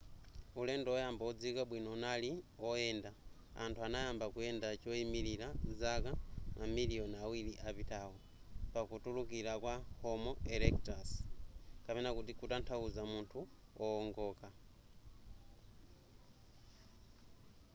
ulendo oyamba odziwika bwino unali oyenda anthu anayamba kuyenda choyimilira zaka mamiliyoni awiri apatawo pakutulukira kwa homo erectus kutanthauza munthu wowongoka